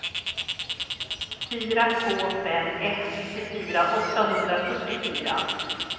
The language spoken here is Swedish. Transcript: fyra två fem ett nittiofyra åttahundrafyrtiofyra